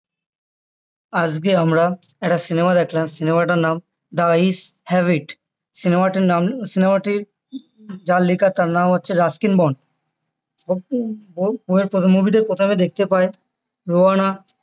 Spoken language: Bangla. আজকে আমরা একটা cinema দেখলাম cinema টার নাম the eyes have it cinema টির নাম cinema টি যার লেখা তার নাম হচ্ছে রাস্কিন বন্ড ওনার প্রথম movie তে প্রথমে দেখতে পায় রুয়ানা